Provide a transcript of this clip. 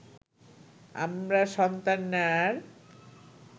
আমরা সন্তান নেয়ার